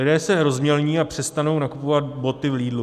Lidé se rozmělní a přestanou nakupovat boty v Lidlu.